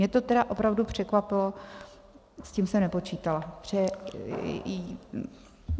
Mě to tedy opravdu překvapilo, s tím jsem nepočítala.